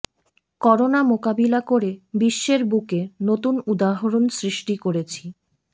corona মোকাবিলা করে বিশ্বের বুকে নতুন উদাহরণ সৃষ্টি করেছি